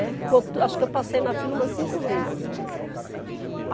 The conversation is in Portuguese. É. Ficou tu, acho que eu passei na fila umas cinco vezes, né.